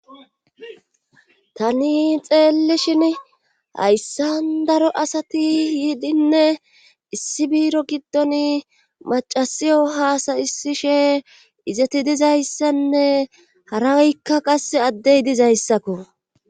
Tani xeellishin hayssa daro asati yiidinne issi biiro giddon macasiyo haasayisishe izati dizayssanne harakka qasse addey dizayssakko.